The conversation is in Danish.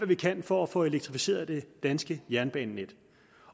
vi kan for at få elektrificeret det danske jernbanenet